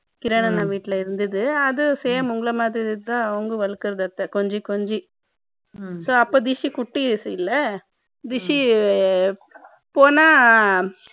kiran அண்ணா வீட்ல இருந்தது அது same உங்கள மாதிரி அவங்களும் வளர்க்கறாங்க கொஞ்சி கொஞ்சி so இருந்துச்சு இல்ல rishi போனா